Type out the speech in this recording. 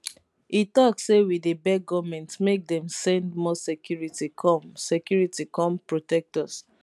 e tok say we dey beg goment make dem send more security come security come protect us